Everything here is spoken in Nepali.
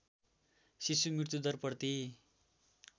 शिशु मृत्युदर प्रति